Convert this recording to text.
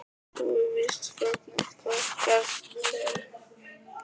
Lilli gekk bara svo miklu lengra en venjulegir heilbrigðir hundar.